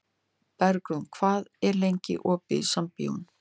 Bergrún, hvað er lengi opið í Sambíóunum?